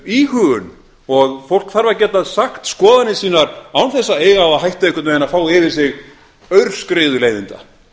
íhugun og fólk þarf að geta sagt skoðanir sínar án þess að eiga það á hættu einhvern veginn að fá yfir sig aurskriðu leiðinda